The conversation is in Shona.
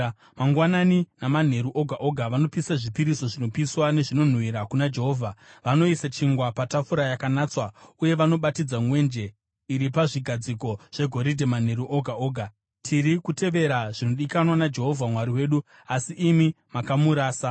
Mangwanani namanheru oga oga vanopisa zvipiriso zvinopiswa nezvinonhuhwira kuna Jehovha. Vanoisa chingwa patafura yakanatswa uye vanobatidza mwenje iri pazvigadziko zvegoridhe manheru oga oga. Tiri kutevera zvinodikanwa naJehovha Mwari wedu asi imi makamurasa.